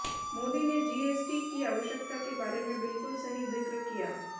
मोदी ने जीएसटी की आवश्यकता के बारे में बिल्कुल सही जिक्र किया